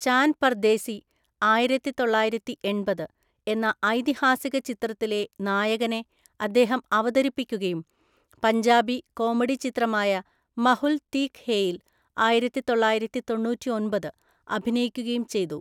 ചാൻ പർദേശി (ആയിരത്തിതൊള്ളായിരത്തിഎണ്‍പത്) എന്ന ഐതിഹാസിക ചിത്രത്തിലെ നായകനെ അദ്ദേഹം അവതരിപ്പിക്കുകയും പഞ്ചാബി കോമഡി ചിത്രമായ മഹുൽ തീക് ഹേയിൽ (ആയിരത്തിതൊള്ളായിരത്തി തൊണ്ണൂറ്റിയൊമ്പത്) അഭിനയിക്കുകയും ചെയ്തു.